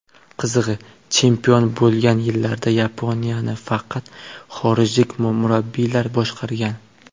Qizig‘i, chempion bo‘lgan yillarda Yaponiyani faqat xorijlik murabbiylar boshqargan .